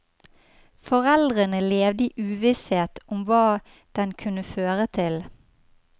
Foreldrene levde i uvisshet om hva den kunne føre til.